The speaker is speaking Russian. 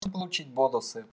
то получить бонусы